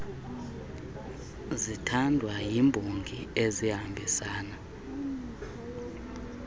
zithandwa yimbongi ezihambisana